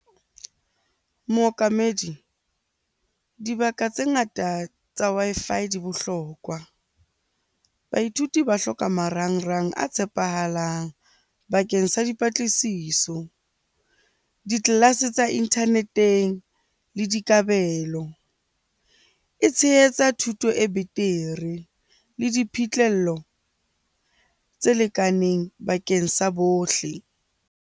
Mookamedi, dibaka tse ngata tsa Wi-Fi di bohlokwa. Baithuti ba hloka marangrang a tshepahalang bakeng sa dipatlisiso, di-class-e tsa internet-eng le dikabelo. E tshehetsa thuto e betere le diphihlello tse lekaneng bakeng sa bohle.